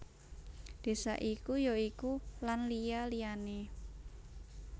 Désa iku ya iku Lan liya liyané